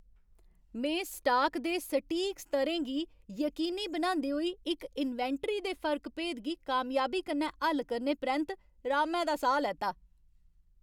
में स्टाक दे सटीक स्तरें गी यकीनी बनांदे होई इक इन्वेंटरी दे फर्क भेद गी कामयाबी कन्नै हल करने परैंत्त रामै दा साह् लैता।